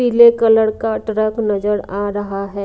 पीले कलर का ट्रक नजर आ रहा है।